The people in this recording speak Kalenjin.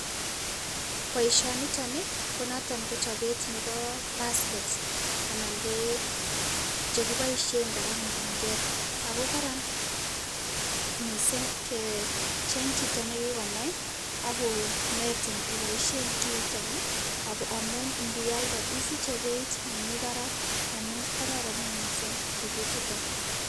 Boisioniton Ii ko noton ko chobet nebo baskets anan ko chekiboisien kora mugunket Ako kararan mising kee jeng chito nekikonai akonetin iboisyen kiiton amut niyalde isiche peyit nemi Barak amun karoron mising tuguk chuton.